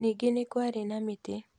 Ningĩ nĩ kwarĩ na mĩtĩ.